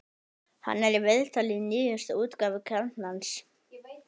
Hann er í viðtali í nýjustu útgáfu Kjarnans.